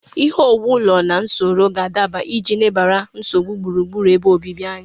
Ihe owuwu ụlọ na usoro ga-adaba iji lebara nsogbu gburugburu ebe obibi anya.